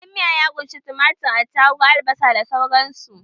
Kayan miya ya ƙunshi tumatir, atarugu, albasa da sauran su.